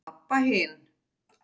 Abba hin.